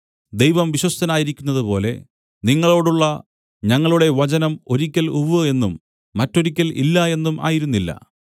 ദൈവം വിശ്വസ്തനായിരിക്കുന്നതുപോലെ നിങ്ങളോടുള്ള ഞങ്ങളുടെ വചനം ഒരിക്കൽ ഉവ്വ് എന്നും മറ്റൊരിക്കൽ ഇല്ല എന്നും ആയിരുന്നില്ല